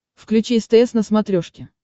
включи стс на смотрешке